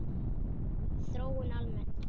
Þróun almennt